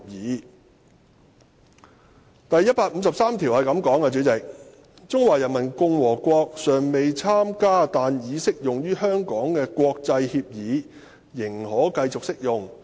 代理主席，第一百五十三條則訂明："中華人民共和國尚未參加但已適用於香港的國際協議仍可繼續適用。